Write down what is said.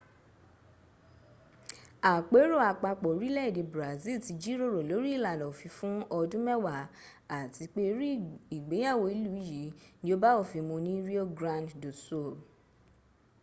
àpérò àpapọ̀ orílẹ̀èdè brazil ti jíròrò lórí ìlànà òfin fún ọdún mẹ́wàá àti pé irú ìgbéyàwó ìlú yìí ní ó bá òfin mun ní rio grande do sul